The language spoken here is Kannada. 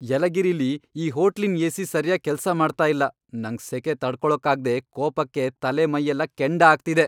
ಯಲಗಿರಿಲಿ ಈ ಹೋಟ್ಲಿನ್ ಏ.ಸಿ. ಸರ್ಯಾಗ್ ಕೆಲ್ಸ ಮಾಡ್ತಾ ಇಲ್ಲ, ನಂಗ್ ಸೆಖೆ ತಡ್ಕೊಳಕ್ಕಾಗ್ದೇ ಕೋಪಕ್ಕೆ ತಲೆ, ಮೈಯೆಲ್ಲ ಕೆಂಡ ಆಗ್ತಿದೆ.